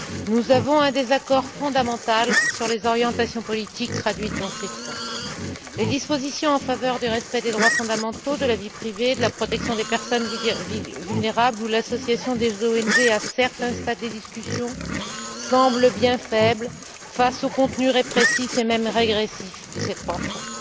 Nous avons un désaccord fondamental sur les orientations politiques traduites dans ces fonds. Les dispositions en faveur du respect des droits fondamentaux, de la vie privée, de la protection des personnes vulnérables ou l'association des ONG à certains stades des discussions semblent bien faibles face au contenu répressif et même régressif de ces trois fonds.